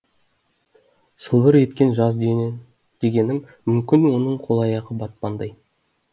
сылбыр екен жаз дегенің мүмкін оның қол аяғы батпандай